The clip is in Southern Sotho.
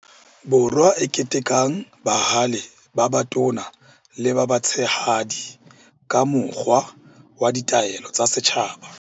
Borwa e ketekang bahale ba batona le ba batshehadi ka mokgwa wa Ditaelo tsa Setjhaba.